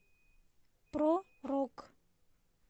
про рок